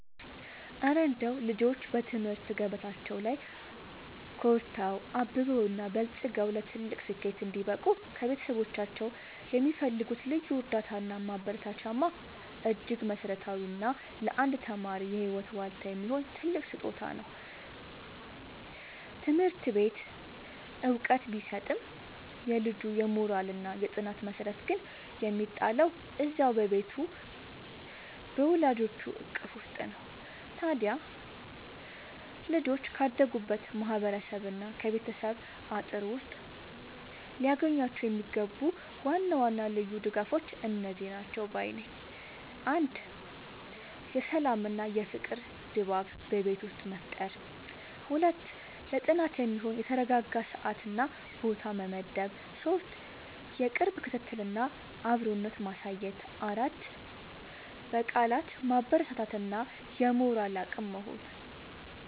እረ እንደው ልጆች በትምህርት ገበታቸው ላይ ኮርተው፣ አብበውና በልጽገው ለትልቅ ስኬት እንዲበቁ ከቤተሰቦቻቸው የሚፈልጉት ልዩ እርዳታና ማበረታቻማ እጅግ መሠረታዊና ለአንድ ተማሪ የህይወት ዋልታ የሚሆን ትልቅ ስጦታ ነው! ትምህርት ቤት ዕውቀት ቢሰጥም፣ የልጁ የሞራልና የጥናት መሠረት ግን የሚጣለው እዚያው በቤቱ በወላጆቹ እቅፍ ውስጥ ነው። ታዲያ ልጆች ካደጉበት ማህበረሰብና ከቤተሰብ አጥር ውስጥ ሊያገኟቸው የሚገቡ ዋና ዋና ልዩ ድጋፎች እነዚህ ናቸው ባይ ነኝ፦ 1. የሰላምና የፍቅር ድባብ በቤት ውስጥ መፍጠር 2. ለጥናት የሚሆን የተረጋጋ ሰዓትና ቦታ መመደብ 3. የቅርብ ክትትልና አብሮነት ማሳየት 4. በቃላት ማበረታታት እና የሞራል አቅም መሆን